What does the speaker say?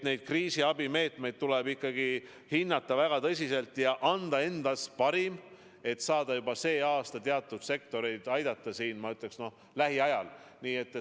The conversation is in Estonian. Kriisiabimeetmeid tuleb ikkagi hinnata väga tõsiselt ja anda endast parim, et saada juba sel aastal teatud sektoreid aidata, ma ütleksin isegi, et lähiajal.